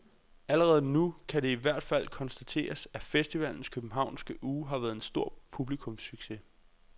Allerede nu kan det i hvert fald konstateres, at festivalens københavnske uge har været en stor publikumssucces.